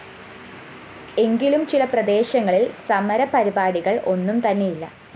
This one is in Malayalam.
എങ്കിലും ചില പ്രദേശങ്ങളില്‍ സമരപരിപാടികള്‍ ഒന്നും തന്നെയില്ല